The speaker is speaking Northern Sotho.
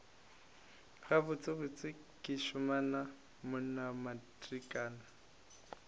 gabotsebotse ke šimama wona matrikana